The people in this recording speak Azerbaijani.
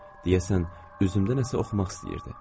Deyəsən üzümdə nəsə oxumaq istəyirdi.